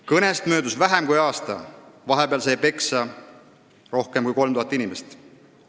Kõnest on möödunud vähem kui aasta, vahepeal on peksa saanud rohkem kui 3000 inimest.